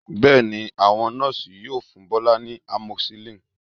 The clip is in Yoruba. Bẹ́ẹ̀ ni, àwọn Nọ́ọ̀sì yóò fún Bọ́lá ní amoxicillin